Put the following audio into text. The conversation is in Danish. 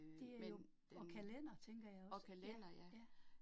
Det er jo, og kalender tænker jeg også, ja, ja